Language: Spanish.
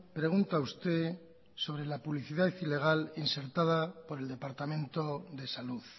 pregunta usted sobre la publicidad ilegal insertada por el departamento de salud